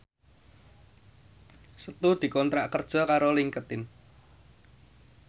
Setu dikontrak kerja karo Linkedin